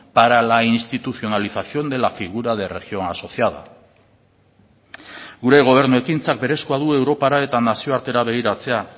para la institucionalización de la figura de región asociada gure gobernu ekintzak berezkoa du europara eta nazioartera begiratzea